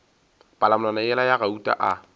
palamonwana yela ya gauta a